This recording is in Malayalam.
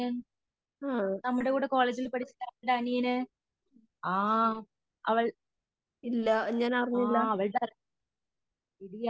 ആ ഇല്ല ഞാനറിഞ്ഞില്ല.